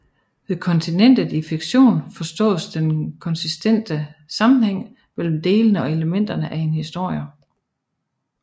Ved kontinuitet i fiktion forstås den konsistente sammenhæng mellem delene og elementerne af en historie